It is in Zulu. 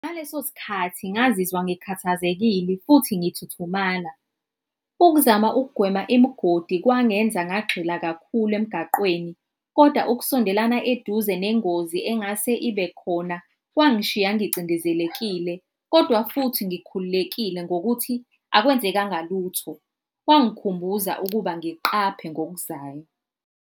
Ngaleso sikhathi ngazizwa ngikhathazekile futhi ngithuthumala. Ukuzama ukugwema imigodi kwangenza ngagxila kakhulu emgaqweni koda ukusondelana eduze nengozi engase ibe khona kwangishiya ngicindezelekile, kodwa futhi ngikhululekile ngokuthi akwenzekanga lutho. Kwangikhumbuza ukuba ngiqaphe ngokuzayo.